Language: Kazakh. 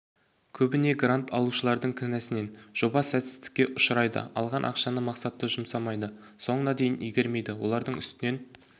көбіне грант алушыладың кінәсінен жоба сәтсіздікке ұшырайды алған ақшаны мақсатты жұмсамайды соңына дейін игермейді олардың үстінен